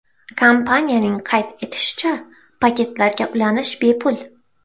Kompaniyaning qayd etishicha, paketlarga ulanish bepul.